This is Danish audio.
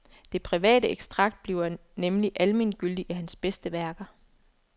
Det private ekstrakt bliver nemlig almengyldigt i hans bedste værker.